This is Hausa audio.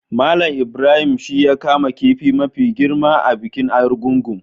Mallam Ibrahim shi ya kama kifi mafi girma a bikin Argungu.